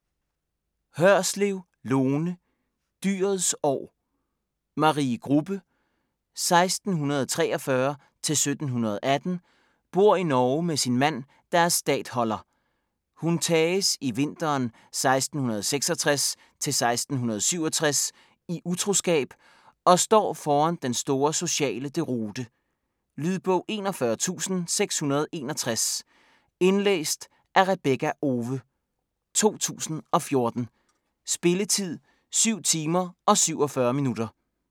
Hørslev, Lone: Dyrets år Marie Grubbe (1643-1718) bor i Norge med sin mand, der er statholder. Hun tages i vinteren 1666-1667 i utroskab og står foran den store sociale deroute. Lydbog 41661 Indlæst af Rebekka Owe, 2014. Spilletid: 7 timer, 47 minutter.